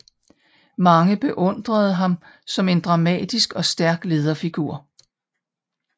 Mange beundrede ham som en dramatisk og stærk lederfigur